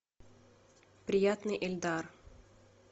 приятный эльдар